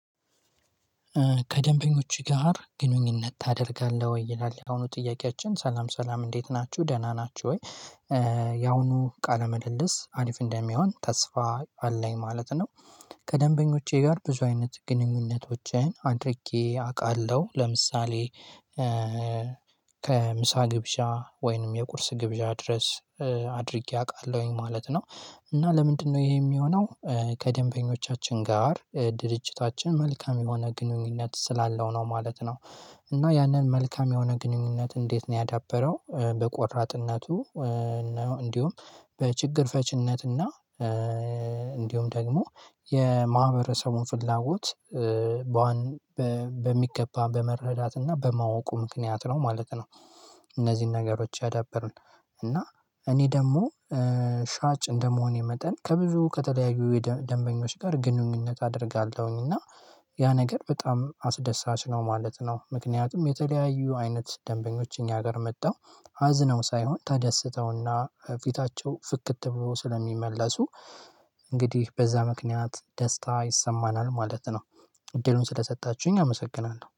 ከደንበኞች ጋር ግንኙነት ታደርጋለህ ወይ ይላል የአሁኑ ጥያቄያችን ሰላም ሰላም እንዴት ናችሁ ደህና ናችሁ ወይ? የአሁኑ ቃለ መልልስ አሪፍ እንደሚሆን ተስፋ አለኝ ማለት ነው። ከደንበኞቼ ጋር ብዙ አይነት ግንኙነቶችን አድርጌ አውቃለሁ ለምሳሌ። ከምሳ ግብዣ ወይንም የቁርስ ግብዣ ድረስ አድርጌ አውቃለሁኝ ማለት ነው። እና ለምንድነው ይሄ የሚሆነው? ከደንበኞቻችን ጋር ድርጅታችን መልካም የሆነ ግንኙነት ስላለው ነው ማለት ነው። እና ያንን መልካም የሆነ ግንኙነት እንዴት ነው ያዳበረው? በቆራጥነቱ። ነው እንዲሁም በችግር ፈችነትና እንዲሁም ደግሞ የማህበረሰቡን ፍላጎት በዋነኛ በሚገባ በመረዳት እና በማወቁ ምክንያት ነው ማለት ነው። እነዚህን ነገሮች ያዳበርን። እና እኔ ደግሞ ሻጭ እንደመሆኔ መጠን ከብዙ ከተለያዩ ደንበኞች ጋር ግንኙነት አደርጋለሁኝ እና ያ ነገር በጣም አስደሳች ነው ማለት ነው። ምክንያቱም የተለያዩ አይነት ደንበኞች እኛ ጋር መጥቸው አዝነው ሳይሆን ተደስተውና ፊታቸው ፍክት ብሎ ስለሚመለሱ እንግዲህ በዛ ምክንያት ደስታ ይሰማናል ማለት ነው። እድሉን ስለሰጣችሁኝ አመሰግናለሁ